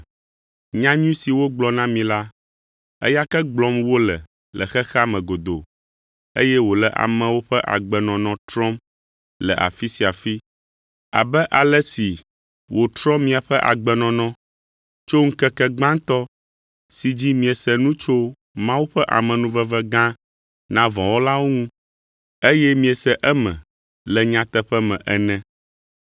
Nyanyui si wogblɔ na mi la, eya ke gblɔm wole le xexea me godoo, eye wòle amewo ƒe agbenɔnɔ trɔm le afi sia afi, abe ale si wòtrɔ miaƒe agbenɔnɔ tso ŋkeke gbãtɔ si dzi miese nu tso Mawu ƒe amenuveve gã na vɔ̃ wɔlawo ŋu eye miese eme le nyateƒe me ene.